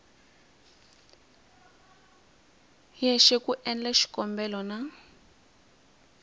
yexe ku endla xikombelo na